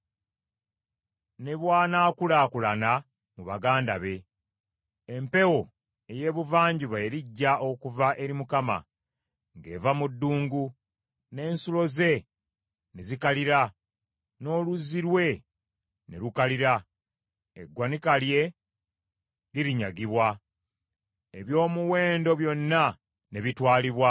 ne bw’anaakulaakulana mu baganda be. Empewo ey’ebuvanjuba erijja okuva eri Mukama , ng’eva mu ddungu, n’ensulo ze ne zikalira, n’oluzzi lwe ne lukalira. Eggwanika lye lirinyagibwa, eby’omuwendo byonna ne bitwalibwa.